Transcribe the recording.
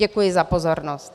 Děkuji za pozornost.